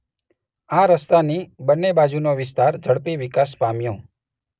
આ રસ્તાની બંને બાજુનો વિસ્તાર ઝડપી વિકાસ પામ્યો.